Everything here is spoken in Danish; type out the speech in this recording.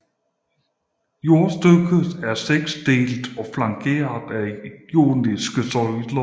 Storstykket er seksdelt og flankeret af joniske søjler